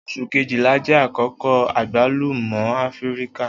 Oṣu Kejìlá jẹ akoko agbalumo Afirika.